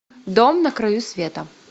дом на краю света